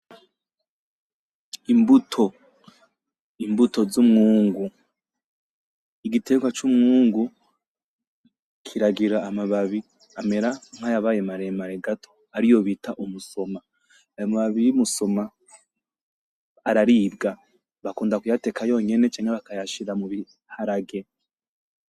Imbuto. Imbuto z'umwungu, igiterwa c'umwungu kiragira amababi amera nkayabaye maremare gato ariyo bita umusoma, ayo mababi yumusoma araribwa bakunda kuyateka yonyene canke bakayashira mubiharage.